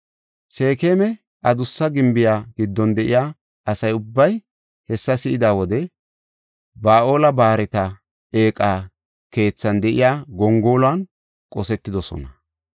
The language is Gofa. Seekema Adussa Gimbiya giddon de7iya asa ubbay hessa si7ida wode Ba7aal-Barta eeqa keethan de7iya gongoluwan qosetidosona.